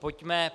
Pojďme.